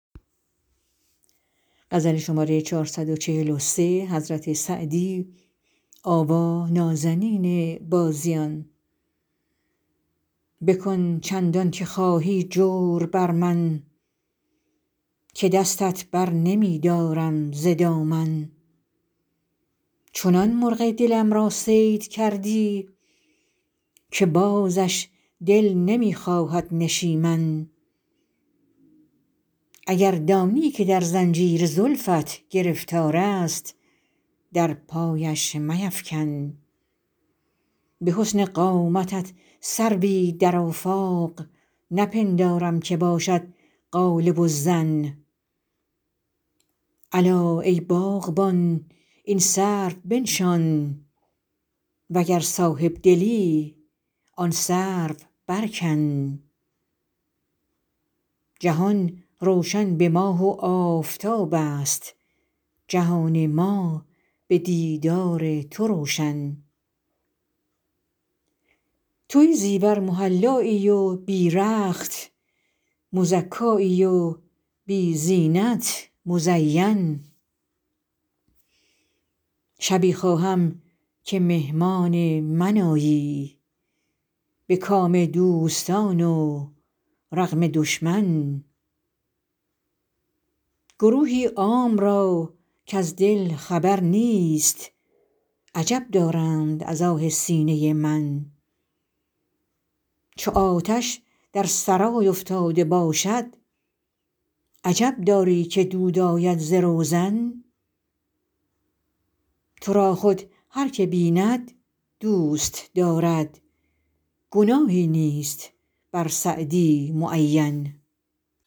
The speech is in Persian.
بکن چندان که خواهی جور بر من که دستت بر نمی دارم ز دامن چنان مرغ دلم را صید کردی که بازش دل نمی خواهد نشیمن اگر دانی که در زنجیر زلفت گرفتار است در پایش میفکن به حسن قامتت سروی در آفاق نپندارم که باشد غالب الظن الا ای باغبان این سرو بنشان و گر صاحب دلی آن سرو برکن جهان روشن به ماه و آفتاب است جهان ما به دیدار تو روشن تو بی زیور محلایی و بی رخت مزکایی و بی زینت مزین شبی خواهم که مهمان من آیی به کام دوستان و رغم دشمن گروهی عام را کز دل خبر نیست عجب دارند از آه سینه من چو آتش در سرای افتاده باشد عجب داری که دود آید ز روزن تو را خود هر که بیند دوست دارد گناهی نیست بر سعدی معین